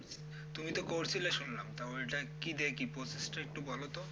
তুমি ত করছিল শুনলাম তো ওইটা কি দিয়ে কি process একটু বলতো?